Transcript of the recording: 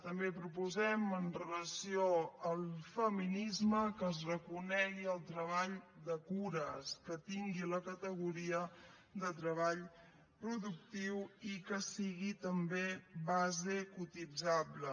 també proposem amb relació al feminisme que es reconegui el treball de cures que tingui la categoria de treball productiu i que sigui també base cotitzable